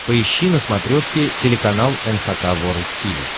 поищи на смотрешке телеканал эн эйч кей волд ти ви